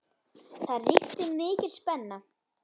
Það ríkti mikil spenna.